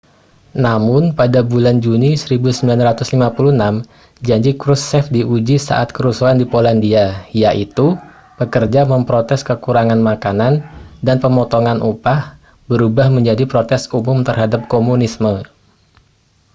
namun pada bulan juni 1956 janji krushchev diuji saat kerusuhan di polandia yaitu pekerja memprotes kekurangan makanan dan pemotongan upah berubah menjadi protes umum terhadap komunisme